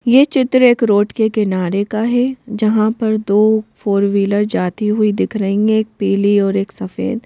ये चित्र एक रोड के किनारे का है जहां पर दो फोर व्हीलर जाती हुई दिख रही है एक पीली और एक सफेद --